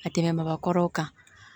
A tɛmɛn baga kɔrɔw kan